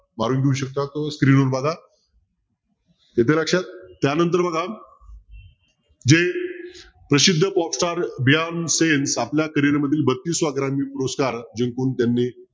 मारून घेऊ शकता तो screen वर बघा येतंय लक्षात त्यानंतर बघा जे प्रसिद्ध आपल्या carrier मधील बत्तिसाव्या क्रमांकाचा पुरस्कार जिंकून त्यांनी